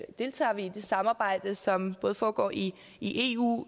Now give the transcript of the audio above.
deltager vi i det samarbejde som foregår i i eu